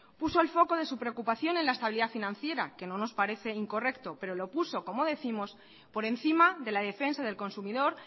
puso el foco de su preocupación en la estabilidad financiera que no nos parece incorrecto pero lo puso como décimos por encima de la defensa del consumidor